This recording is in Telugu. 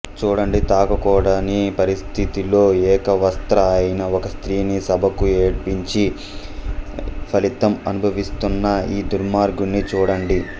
చూడండి తాకకూడని పరిస్థితిలో ఏకవస్త్ర అయిన ఒక స్త్రీని సభకు ఈడ్పించి ఫలితం అనుభవిస్తున్న ఈ దుర్మార్గుడిని చూడండి